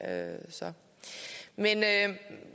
er sagt